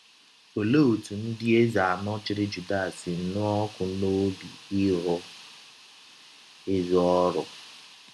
Ọlee ọtụ ndị eze anọ chịrị Juda si nụọ ọkụ n’ọbi ịrụ ezi ọrụ?